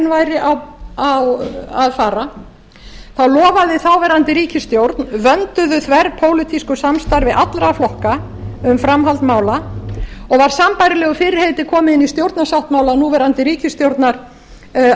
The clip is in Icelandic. væri að fara lofaði þáverandi ríkisstjórn vönduðu þverpólitísku samstarfi allra flokka um framhald mála og var sambærilegu fyrirheiti komið inn í stjórnarsáttmála núverandi ríkisstjórnar að